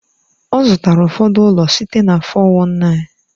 Ọ zụtara ụfọdụ ụlọ site na 419.